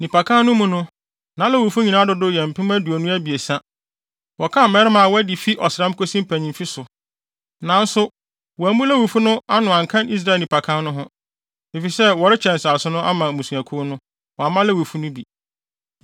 Nnipakan no mu no, na Lewifo nyinaa dodow yɛ mpem aduonu abiɛsa (23,000). Wɔkan mmarima a wɔadi fi ɔsram kosi mpanyimfo so. Nanso, wɔammu Lewifo no ano anka Israel nnipakan no ho, efisɛ wɔrekyɛ nsase no ama mmusuakuw no, wɔamma Lewifo no bi.